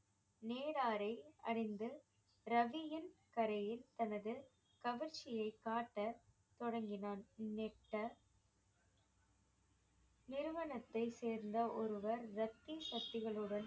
நேராரை அறிந்து ரவியின் கரையில் தனது கவர்ச்சியை காட்ட தொடங்கினான் நெட்ட நிறுவனத்தை சேர்ந்த ஒருவர் லத்தி சக்திகளுடன்